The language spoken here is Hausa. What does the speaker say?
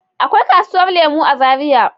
Akwai kasuwar lemu a zaria.